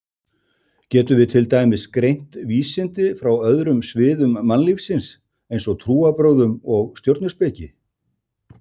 Getum við til dæmis greint vísindi frá öðrum sviðum mannlífsins eins og trúarbrögðum eða stjörnuspeki?